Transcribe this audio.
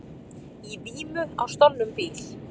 Í vímu á stolnum bíl